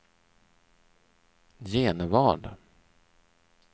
Genevad